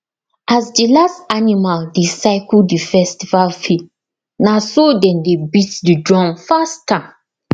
as the last animal dey circle the festival field na so dem dey beat the drum faster